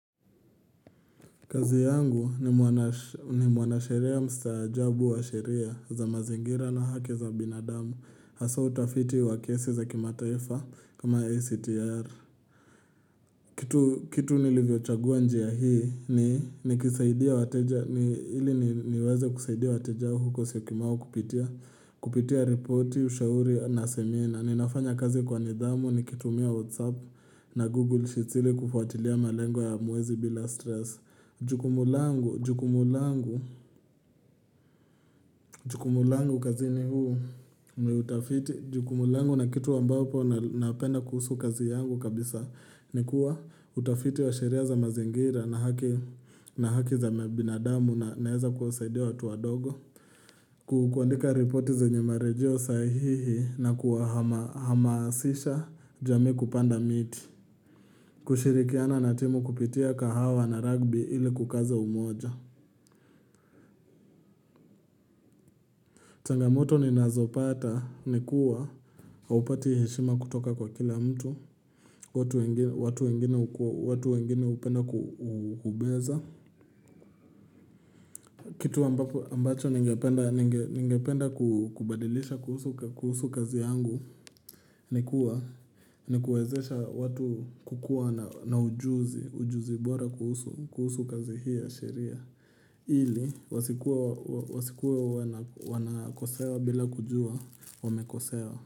Kazi yangu ni muanasheria mstajabu wa sheria za mazingira na haki za binadamu hasa utafiti wakiesi za kimataifa kama ACTR. Kitu nilivyo chagua njia hii ni niweze kusaidia watejao huko siyokimau kupitia reporti, ushauri na semina. Ninafanya kazi kwa nidamu nikitumia whatsapp na google sheets ili kufuatilia malengo ya mwezi bila stress. Jukumu langu, jukumu langu, jukumu langu kazini huu niutafiti, jukumulangu na kitu ambao po napenda kuhusu kazi yangu kabisa Nikuwa utafiti wa sheria za mazingira na haki za mebinadamu na heza kuwasaidia watu wadogo Kukwandika reporti zenye marejeo sahihi na kuwa hamasisha jami kupanda miti kushirikiana na timu kupitia kahawa na rugby ili kukaza umoja changamoto ninazopata ni kuwa, haupati heshima kutoka kwa kila mtu, watu wengine upenda kubeza kitu ambacho ningependa kubadilisha kuhusu kazi yangu ni kuwezesha watu kukua na ujuzi, ujuzi bora kuhusu kazi hii ya sheria Ili, wasikuwa wanakosewa bila kujua, wamekosewa.